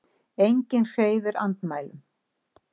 Enginn hreyfir andmælum.